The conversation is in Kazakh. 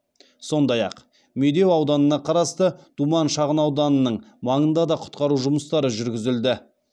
сондай ақ медеу ауданына қарасты думан шағынауданының маңында да құтқару жүмыстары жүргізілді